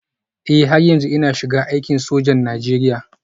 Eh har yanzu ina shiga aikin sojan Najeriya